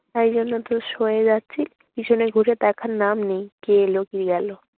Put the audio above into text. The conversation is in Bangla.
তাই জন্যই তো সয়ে যাচ্ছি। পিছনে ঘুরে দেখার নাম নেই। কে এল কে গেল।